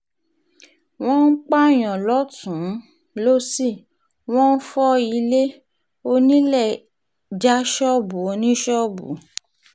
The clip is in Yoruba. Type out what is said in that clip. wọ́n ń pààyàn lọ́tùn-ún lósì wọ́n ń fọ ilé onílẹ̀ já ṣọ́ọ̀bù oníṣọ́ọ̀bù